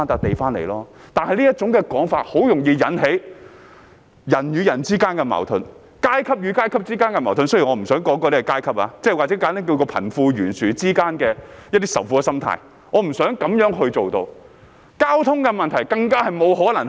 他這種說法很容易引起人與人之間的矛盾、階級與階級之間的矛盾，雖然我不想說那是階級，或簡單而言是貧富懸殊之間的仇富心態，我不想做到這樣。